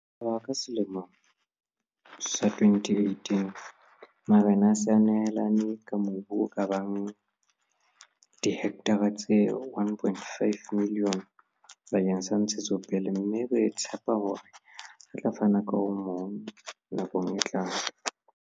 Ho tloha ka selemo sa 2018, marena a se a nehelane ka mobu o ka bang dihektara tse 1 500 000 bakeng sa ntshetsopele, mme re tshepa hore a tla fana ka o mong nakong e tlang.